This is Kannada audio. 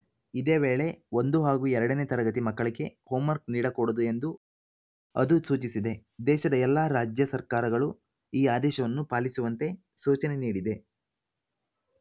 ಇದೇ ವೇಳೆ ಒಂದು ಹಾಗೂ ಎರಡನೇ ತರಗತಿ ಮಕ್ಕಳಿಗೆ ಹೋಮ್‌ವರ್ಕ್ ನೀಡಕೂಡದು ಎಂದೂ ಅದು ಸೂಚಿಸಿದೆ ದೇಶದ ಎಲ್ಲಾ ರಾಜ್ಯ ಸರ್ಕಾರಗಳು ಈ ಆದೇಶವನ್ನು ಪಾಲಿಸುವಂತೆ ಸೂಚನೆ ನೀಡಿದೆ